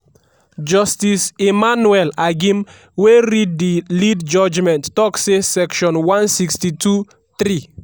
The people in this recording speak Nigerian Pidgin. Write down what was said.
justice emmanuel agim wey read di lead judgement tok say section 162(3)